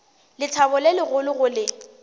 lethabo le legolo go le